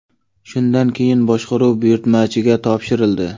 Shundan keyin boshqaruv buyurtmachiga topshirildi.